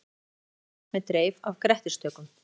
Jökulrákuð klöpp með dreif af grettistökum.